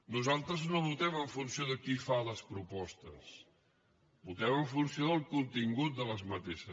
nosaltres no votem en funció de qui fa les propostes votem en funció del contingut d’aquestes